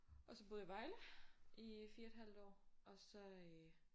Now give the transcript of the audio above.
Og så boede jeg i Vejle i 4 et halvt år og så øh